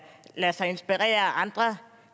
lade sig inspirere af andre